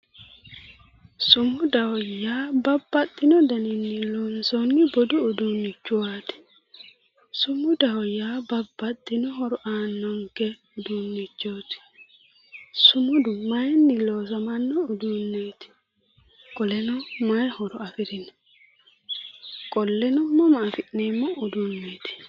sumudaho yaa babbaxxino daninni loonsoonni budu uduunnichooti sumudaho yaa babbaxxino horo aannonke uduunnichooti sumudu mayinni loosamanno uduunneeti qoleno mayi horo afirino qolleno mama afi'neemmo uduunneeti?